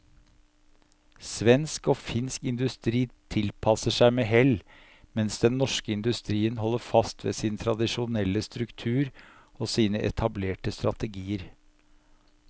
Svensk og finsk industri tilpasser seg med hell, mens den norske industrien holder fast ved sin tradisjonelle struktur og sine etablerte strategier.